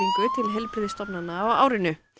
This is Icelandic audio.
til heilbrigðisstofnana á árinu